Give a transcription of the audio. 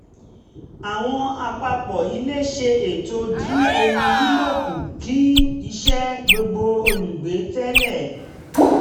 àwọn àpapọ̀ ilé ṣe ètò dín omi lílò kù kì í ṣe gbogbo olùgbé tẹ̀lé